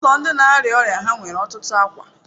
ụlọ ndi na-arịa ọrịa ha nwere ọtụtụ akwa.